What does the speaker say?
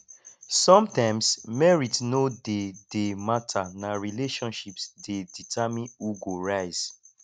sometimes merit no dey dey matter na relationships dey determine who go rise